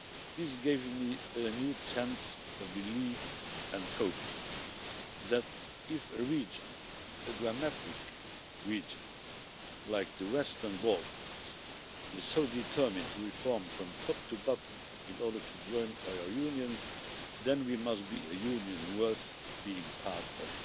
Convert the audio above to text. This gave me a renewed sense of belief and hope that if a region, a dramatic region like the Western Balkans, is so determined to reform from top to bottom in order to join our Union, then we must be a Union worth being part of.